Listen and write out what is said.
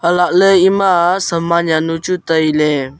halakley emaa saman jaonu chu dangley tailey.